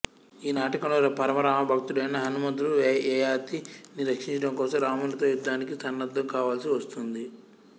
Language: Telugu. ఈ నాటకంలో పరమ రామ భక్తుడైన హనుమంతుడు యయాతి ని రక్షించడం కోసం రామునితో యుద్ధానికి సన్నద్దం కావల్సి వస్తుంది